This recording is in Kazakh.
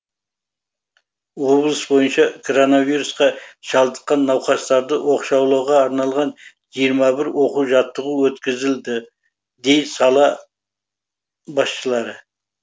облыс бойынша коронавирусқа шалдыққан науқастарды оқшаулауға арналған жиырма бір оқу жаттығу өткізілді дейді сала басшылары